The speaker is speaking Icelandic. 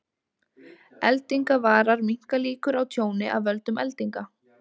Eldingavarar minnka líkur á tjóni af völdum eldinga.